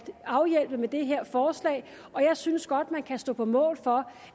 afhjælpe med det her forslag og jeg synes godt at man kan stå på mål for